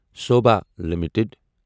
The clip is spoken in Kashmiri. سوبھا لِمِٹٕڈ